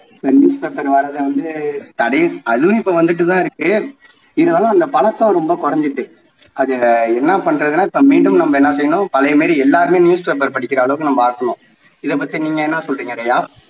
இப்போ newspaper வர்றது வந்து அதுவும் இப்போ வந்துட்டு தான் இருக்கு இருந்தாலும் அந்த பழக்கம் ரொம்ப குறைஞ்சுட்டு அதில என்ன பண்றதுன்னா நம்ம மீண்டும் நாம் என்ன செய்யணும் பழைய மாதிரி எல்லாருமே news paper படிக்குற அளவுக்கு நம்ம மாற்றணும் இதை பத்தி நீங்க என்ன சொல்றிங்க ரியா